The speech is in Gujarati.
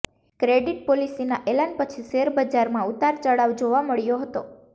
ક્રેડિટ પોલિસીના એલાન પછી શેર બજારમાં ઉતાર ચઢાવ જોવા મળ્યો હતો